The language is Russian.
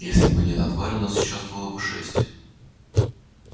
если бы не эта тварь у нас сейчас было бы шесть